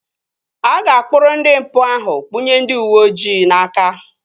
A ga-akpụrụ ndị mpụ ahụ kpụnye ndị uweojii n'aka